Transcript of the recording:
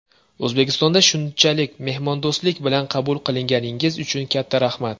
O‘zbekistonda shunchalik mehmondo‘stlik bilan qabul qilganingiz uchun katta rahmat!